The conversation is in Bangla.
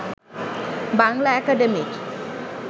বাংলা একাডেমির